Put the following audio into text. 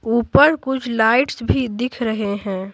ऊपर कुछ लाइट्स भी दिख रहे हैं।